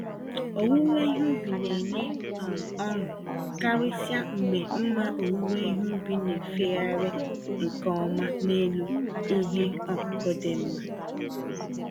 Owuwe ihe ubi nenye um ọṅụ—karịsịa mgbe mma owuwe ihe ubi na-efegharị nke ọma n'elu ihe ọkụkụ dị mma.